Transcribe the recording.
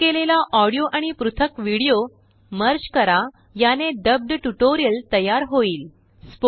डब केलेलाऑडियो आणि पृथकविडिओमर्ज करा यानेडब्बड ट्यूटोरियल तयार होईल